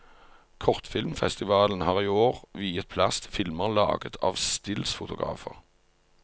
Kortfilmfestivalen har i år viet plass til filmer laget av stillsfotografer.